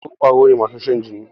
sauro kwaro ne masu Shan jini.